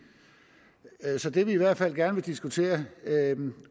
så det vi i hvert fald gerne vil diskutere